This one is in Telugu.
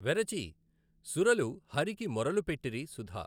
వెరచి సురలు హరికి మొరలు పెట్టిరి సుధా.